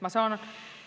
Ma saan